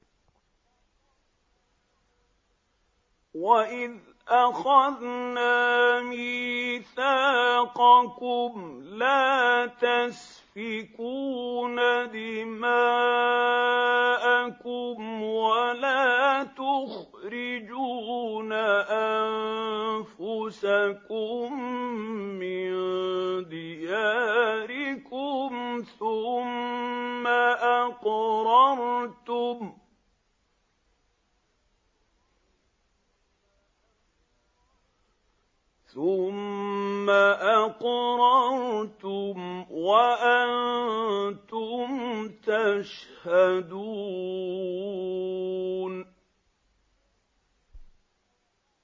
وَإِذْ أَخَذْنَا مِيثَاقَكُمْ لَا تَسْفِكُونَ دِمَاءَكُمْ وَلَا تُخْرِجُونَ أَنفُسَكُم مِّن دِيَارِكُمْ ثُمَّ أَقْرَرْتُمْ وَأَنتُمْ تَشْهَدُونَ